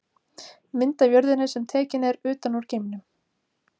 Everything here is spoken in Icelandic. Mynd af jörðinni sem tekin er utan úr geimnum.